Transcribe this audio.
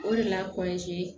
O de la